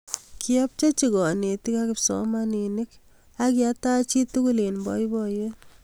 Kiapchechi kanetik ak kipsomaninik akitach chitukul eng boiboyet